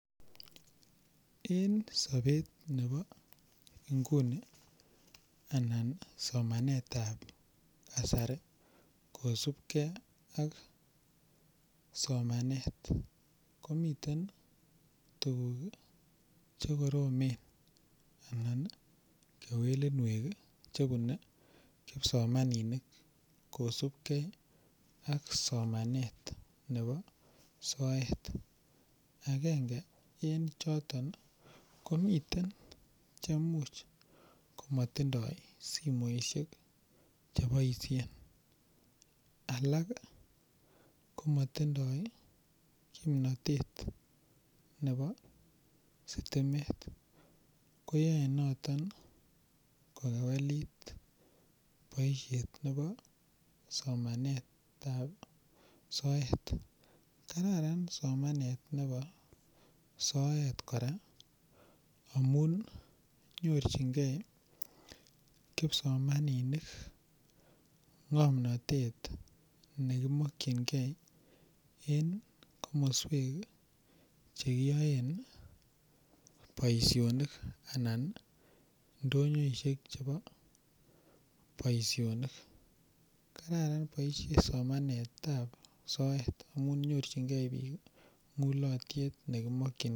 En sobet nebo inguni anan somanetab kasari kosubke ak somanet komiten tuguk chekoromen anan kewelunwek chebune kipsomaninik kosubke ak somanet nebo soet. Agenge en choton ko miten chemuch komatindoi simoisiek cheboisien. Alak ko motindoi kimnatet nebo sitimet. koyae noto kowelit boisiet nebo somanetab soet. Kararan somanet nebo soet kora amun nyorchinge kipsomaninik ngomnatet nekimakyinge en komoswek che kiyoen boisionik anan ndonyoisiek chebo boisioni. Kararan boisietab soet amun nyorchinge biik mulotyet nekimak.